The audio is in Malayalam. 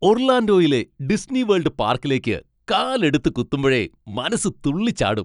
ഒർലാൻഡോയിലെ ഡിസ്നിവേൾഡ് പാർക്കിലേക്ക് കാലെടുത്ത് കുത്തുമ്പഴേ മനസ്സ് തുള്ളിച്ചാടും.